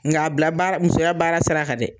Nga a bila baara musoya baara sira kan dɛ!